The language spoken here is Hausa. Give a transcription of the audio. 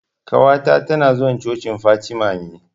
Ƙawata ta na zuwa cocin Fatima ne